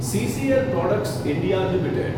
CCl products India limited